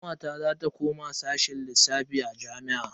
Kawata za ta koma bangaren sashen lissafi a jami'a.